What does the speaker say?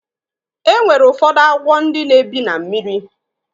E nwere ụfọdụ agwọ ndị na-ebi na mmiri.